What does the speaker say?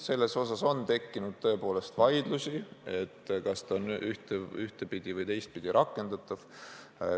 Selle üle on tõepoolest tekkinud vaidlusi, kas ta on ühtepidi või teistpidi rakendatav.